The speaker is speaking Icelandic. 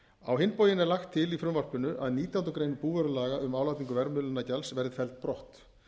á hinn bóginn er lagt til í frumvarpinu að nítjánda grein búvörulaga um álagningu verðmiðlunargjalds verði felld brott